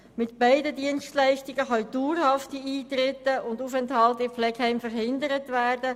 Mit beiden Dienstleistungen können dauerhafte Eintritte und Aufenthalte in Pflegeheimen verhindert werden.